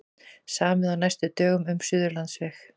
Samið á næstu dögum um Suðurlandsveg